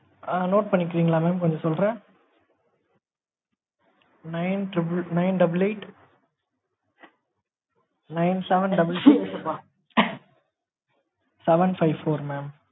ஆ note பண்ணிகிரின்களா mam? நான் சொல்றேன் nine triple nine double eight nine seven double six seven five four mam